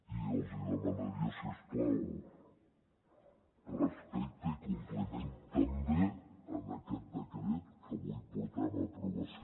i els demanaria si us plau respecte i compliment també d’aquest decret que avui portem a aprovació